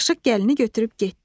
Aşıq gəlini götürüb getdi.